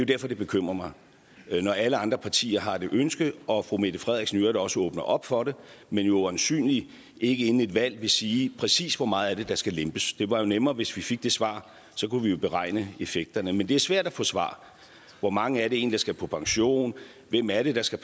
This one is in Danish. derfor det bekymrer mig når alle andre partier har det ønske og fru mette frederiksen i øvrigt også åbner op for det men jo øjensynlig ikke inden et valg vil sige præcis hvor meget af det der skal lempes det var jo nemmere hvis vi fik det svar så kunne vi jo beregne effekterne men det er svært at få svar hvor mange er det egentlig der skal på pension hvem er det der skal